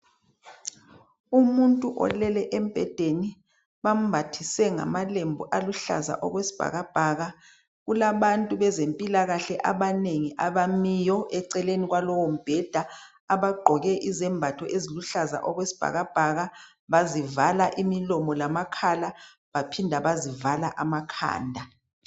Umuntu olele embhedeni bambathise ngamalembu aluhlaza okwesibhakabhaka kulabantu abezempilakahle abanengi abamileyo eceleni kwalowo bheda abagqoke amayembe aluhlaza okwesibhakabhaka bazivala amakhala kanye lamakhanda.